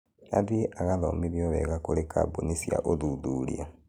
Athiĩ agathomithio wega kũri kambũni cia ũthuthuria